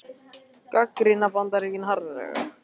Gagnrýna Bandaríkin harðlega